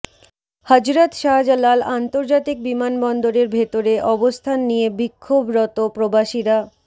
হজরত শাহজালাল আন্তর্জাতিক বিমানবন্দরের ভেতরে অবস্থান নিয়ে বিক্ষোভরত প্রবাসীরা